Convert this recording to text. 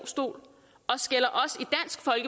og skælder